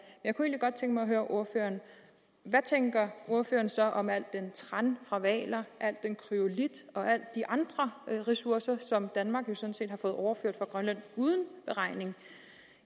jeg kunne egentlig godt tænke mig at høre ordføreren hvad tænker ordføreren så om alt den tran fra hvaler al den kryolit og alle de andre ressourcer som danmark jo sådan set har fået overført fra grønland uden beregning